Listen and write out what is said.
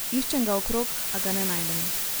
Iščem ga okrog, a ga ne najdem.